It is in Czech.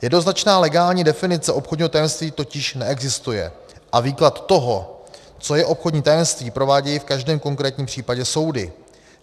Jednoznačná legální definice obchodního tajemství totiž neexistuje a výklad toho, co je obchodní tajemství, provádějí v každém konkrétním případě soudy.